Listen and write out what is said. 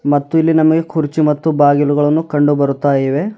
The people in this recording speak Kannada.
ಮತ್ತು ಇಲ್ಲಿ ನಮಗೆ ಕುರ್ಚಿ ಮತ್ತು ಬಾಗಿಲುಗಳನ್ನು ಕಂಡು ಬರುತ್ತಾ ಇವೆ.